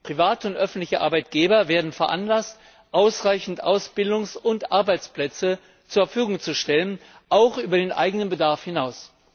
Private und öffentliche Arbeitgeber werden veranlasst, ausreichend Ausbildungs und Arbeitsplätze zur Verfügung zu stellen, auch über den eigenen Bedarf hinaus.